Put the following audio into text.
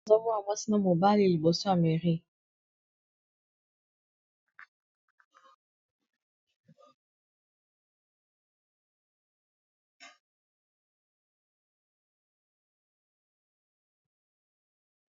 Nazo mona mwasi na mobali liboso ya mairie.